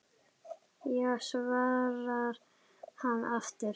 Já svarar hann aftur.